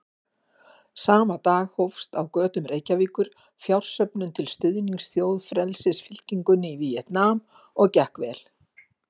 Sama dag hófst á götum Reykjavíkur fjársöfnun til stuðnings Þjóðfrelsisfylkingunni í Víetnam og gekk vel.